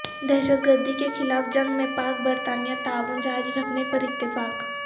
دہشت گردی کے خلاف جنگ میں پاک برطانیہ تعاون جاری رکھنے پر اتفاق